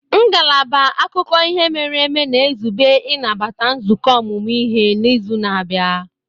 Ngalaba akụkọ ihe mere eme na-ezube ịnabata nzukọ ọmụmụ ihe n'izu na-abịa.